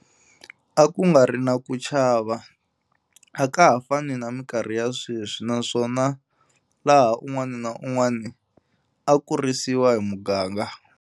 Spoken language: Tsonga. A ku nga ri na ku chava, a ka ha fani na minkarhi ya sweswi, naswona laha un'wana na un'wana a kurisiwa hi muganga.